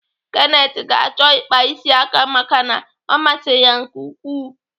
Kenneth ga-achọ ịkpa isi aka maka na ọ masịrị ya nke ukwuu.